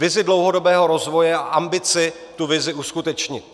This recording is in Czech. Vizi dlouhodobého rozvoje a ambici tu vizi uskutečnit.